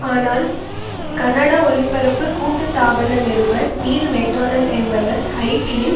ஆனால் கனடா ஒலிபரப்பு கூட்டு தாபன நிருபர் நீல் மேக்டோனால்ட் என்பவர் ஹைட்டியின்